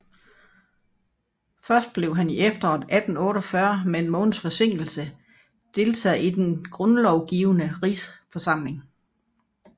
Først blev han i efteråret 1848 med en måneds forsinkelse deltager i Den Grundlovgivende Rigsforsamling